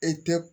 E tɛ